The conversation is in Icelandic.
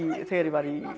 þegar ég var í